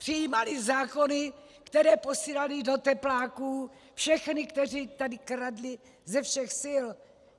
Přijímaly zákony, které posílaly do tepláků všechny, kteří tady kradli ze všech sil.